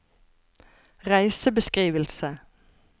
reisebeskrivelse